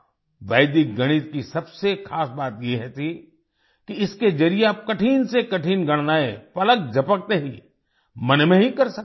वैदिक गणित की सबसे खास बात ये थी कि इसके जरिए आप कठिन से कठिन गणनाएँ पलक झपकते ही मन में ही कर सकते हैं